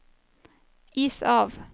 is av